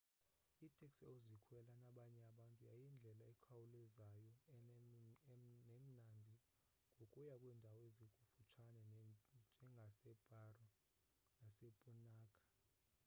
iteksi ozikhwela nabanye abantu yindlela ekhawulezayo nemnandi yokuya kwiindawo ezikufutshane njengaseparo nu150 nasepunakha nu 200